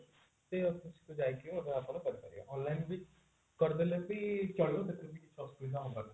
ସେ office କୁ ଯାଇ ମଧ୍ୟ କରିପାରିବେ online ବି କରିଦେଲେ ବି ଚଳିବ ସେଥିରେ କିଛି ଅସୁବିଧା ହେବନି